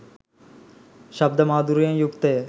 ශබ්ද මාධූර්යයෙන් යුක්තය.